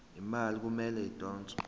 imali kumele idonswe